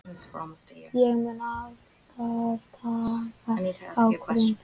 Ég mun alltaf taka ákvörðun.